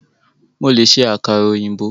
Mo lè ṣe àkàrà ọ̀yìnbó.